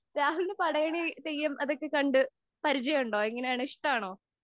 രാഹുലിന് പടയണി, തെയ്യം അതൊക്കെ കണ്ടു പരിചയം ഒണ്ടോ? എങ്ങനെയാണ്‌? ഇഷ്ടാണോ?